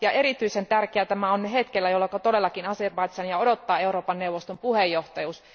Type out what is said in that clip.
Erityisen tärkeää tämä on hetkellä, jolla todellakin Azerbaidžania odottaa Euroopan neuvoston puheenjohtajuus.